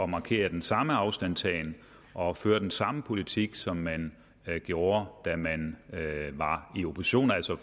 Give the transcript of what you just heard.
markere den samme afstandtagen og føre den samme politik som man gjorde da man var i opposition altså